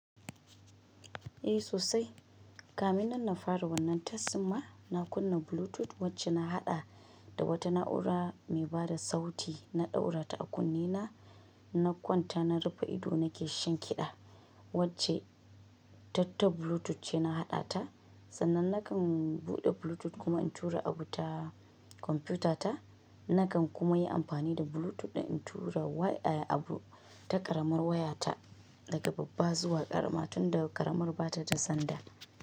Eh sosai. Kamin nan na fara wannan test dinma na kunna Bluetooth wacce na haɗa da wata na'ura mai bada sauti na ɗaura ta a kunne na, na kwanta na rufe ido nake shan kiɗa wacce ta ta Bluetooth ce na haɗa ta. Sannan na kan buɗe Bluetooth kuma in tura abu ta kwamfuyuta ta. Na kan kuma yi amfani da Bluetooth in tura wai ai abu ta ƙaramar waya ta daga babba zuwa ƙarama tunda ƙaramar bata da sandal.